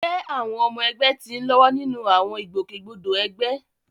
jẹ́ àwọn ọmọ ẹgbẹ́ ti ń lọ́wọ́ nínú àwọn ìgbòkègbodò ẹgbẹ́?